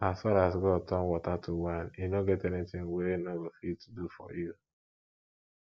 as far as god turn water to wine e no get anything wey e no go fit do for you